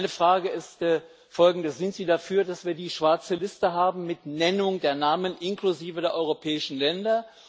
Meine Frage ist folgende Sind Sie dafür, dass wir die schwarze Liste haben mit Nennung der Namen, inklusive der europäischen Länder?